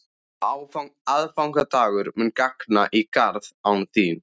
Aðfangadagur mun ganga í garð án þín.